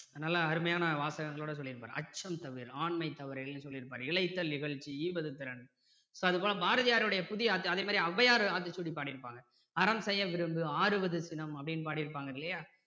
நல்ல அருமையான வாசகங்களோடு சொல்லி இருப்பாரு அச்சம் தவிர் ஆண்மை தவறேலுன்னு சொல்லி இருப்பாரு இளைத்தல் இகழ்ச்சி ஈவது திறன் so அது போல பாரதியாருடைய புதிய அதே மாதிரி ஔவையார் ஆத்திசூடி பாடி இருப்பாங்க அறம் செய்ய விரும்பு ஆறுவது சினம் அப்படின்னு பாடி இருப்பாங்க இல்லையா